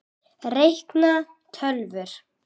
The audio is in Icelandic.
Reikna- tölvur